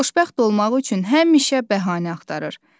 Xoşbəxt olmaq üçün həmişə bəhanə axtarır.